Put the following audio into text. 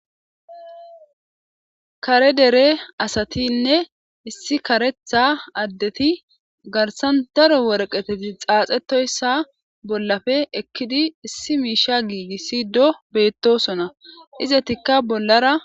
kare dere asatinne issi karetha addeti garsan daro worqeteti xaaxetoyssa bollafe ekkidi issi miisha giigissi do beettosona izetikka bollara